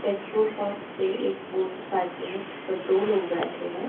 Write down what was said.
Petrol pump पे एक motorcycle है जिस पर दो लोग बैठे हैं।